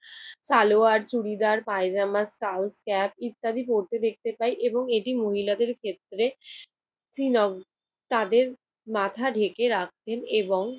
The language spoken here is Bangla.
সালোয়ার, চুরিদার পায়জামা, স্কাউট ক্যাপ ইত্যাদি পরতে দেখতে পাই এবং এটি মহিলাদের ক্ষেত্রে শ্রীনগর তাদের মাথা ডেকে রাখতেন এবং